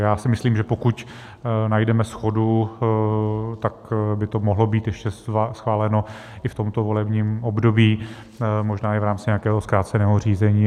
Já si myslím, že pokud najdeme shodu, tak by to mohlo být ještě schváleno i v tomto volebním období, možná i v rámci nějakého zkráceného řízení.